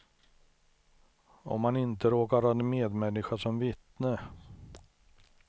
Om man inte råkar ha en medmänniska som vittne.